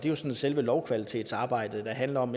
er jo selve lovkvalitetsarbejdet der handler om